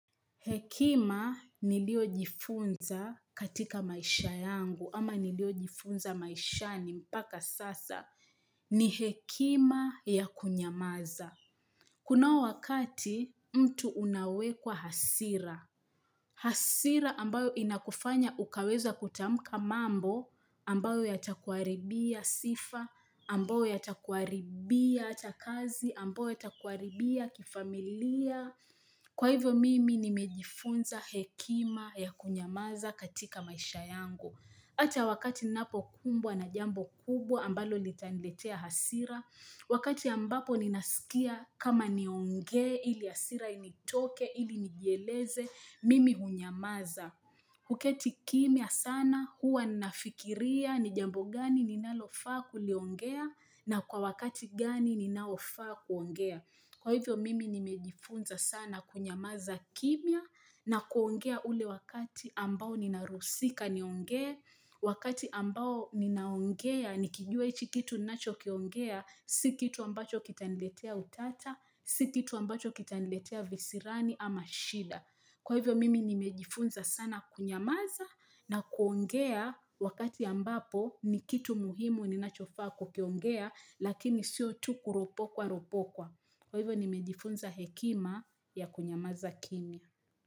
Hekima ni lio jifunza katika maisha yangu, ama ni lio jifunza maishani mpaka sasa. Ni hekima ya kunyamaza. Kunao wakati mtu unawekwa hasira. Hasira ambayo inakufanya ukaweza kutamka mambo, ambayo yatakuaribia sifa, ambayo yatakuaribia atakazi, ambayo yatakuaribia kifamilia. Kwa hivyo mimi nimejifunza hekima ya kunyamaza katika maisha yangu. Ata wakati napo kumbwa na jambo kubwa ambalo litaniletea hasira. Wakati ambapo ninasikia kama nionge ili hasira initoke ili nijieleze mimi hunyamaza. Kuketi kimia sana huwa nafikiria ni jambo gani linalofaa kuliongea na kwa wakati gani ninaofa kuongea. Kwa hivyo mimi nimejifunza sana kunyamaza kimia na kuongea ule wakati ambao ninarusika niongea, wakati ambao ninaongea nikijua ichi kitu nacho kiongea, si kitu ambacho kita niletea utata, si kitu ambacho kita niletea visirani ama shida. Kwa hivyo mimi nimejifunza sana kunyamaza na kuongea wakati ambapo ni kitu muhimu ni nachofa kukiongea lakini siyo tu kuropokwa ropokwa. Kwa hivyo nimejifunza hekima ya kunyamaza kimia.